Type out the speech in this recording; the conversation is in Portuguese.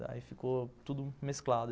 Daí ficou tudo mesclado.